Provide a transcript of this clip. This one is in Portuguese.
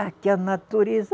Aqui, a natureza